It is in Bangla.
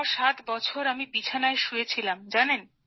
৬৭ বছর আমি বিছানায় শুয়ে ছিলাম